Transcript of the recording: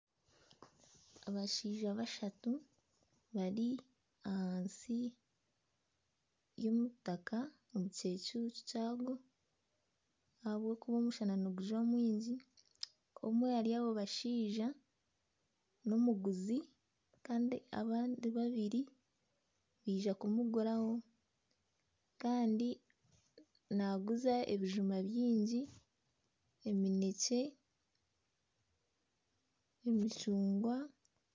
Abashaija bashatu bari ahansi y'omutaka omu kicucu kyagwo ahabw'okuba omushana nigujwa mwingi omwe ahari abo bashaija n'omuguzi kandi abandi babiri baija kumuguraho kandi naaguza ebijuma byingi emineekye emicungwa